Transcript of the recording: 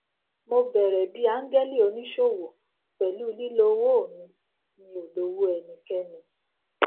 mo bẹrẹ bí áńgẹlì oníṣòwò pẹlú lílo owó mi mi ò lówó ẹnikẹni